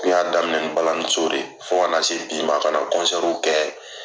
N y'a daminɛ ni balalaniso de ye fɔ kana se bi ma ka kɔnsɛriw kɛ